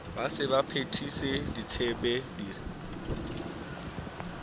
be a sa phethise ditshepiso